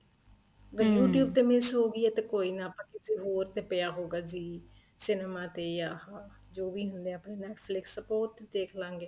ਅਗਰ you tube miss ਹੋ ਗਈ ਏ ਤੇ ਕੋਈ ਨਾ ਆਪਾਂ ਕਿਸੇ ਹੋਰ ਤੇ ਪਇਆ ਹਉਗਾ zee cinema ਤੇ ਜਾ ਜੋ ਵੀ ਹੁਣੇ ਏ ਆਪਣੇ Netflix ਆਪਾਂ ਉਹ ਤੇ ਦੇਖਲਾਗੇ